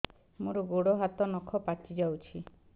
ମୋର ଗୋଡ଼ ହାତ ନଖ ପାଚି ଯାଉଛି